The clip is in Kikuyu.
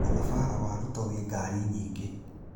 Mũthabara wa Ruto wĩ ngari nyingĩ.